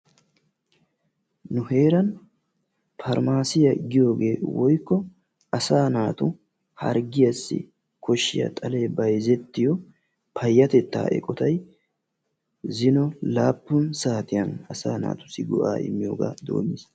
Nu heeran parmaasiya giyogee woykko asaa naatu harggiyaassi koshiya xalee bayzzettiyo payatettaa eqotay zino laappun saatiyan asaa naatussi go"aa immiyogaa doommiis.